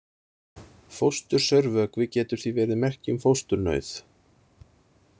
Fóstursaurvökvi getur því verið merki um fósturnauð.